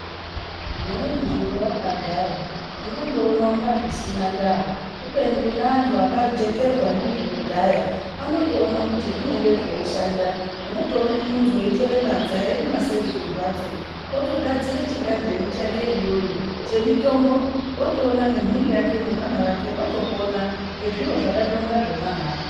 Zvimweni zviro wakagara, ungandoona kunga zvisina ndaa, kubeni kune antu akajekerwa ndizvo kudhaya anotoona kuti zvinenge zveishanda. Unotoona muntu eitora badza eirima seri kwembatso, utogadzire chigadhini chake iyoyo, chemitombo, wotoona nembhuri yake nevana vake votopona ngezviro zvakandonge zvemahara.